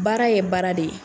Baara ye baara de ye.